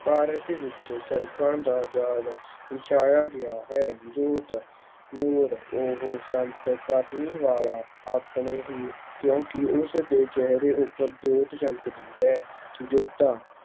ਭਾਰਤ ਵਿੱਚ ਸੜਕਾਂ ਦਾ ਜਾਲ ਵਿਛਾਇਆ ਗਿਆ ਹੈ ਜੋਤ, ਨੂਰ ਉਹ ਸੰਤ ਕਰਨੀ ਵਾਲਾ ਆਪਣੇ ਹੀ ਕਿਉਂਕਿ ਉਸਦੇ ਚਿਹਰੇ ਉੱਪਰ ਜੋਤ ਜਗਦੀ ਹੈ, ਜੋਧਾ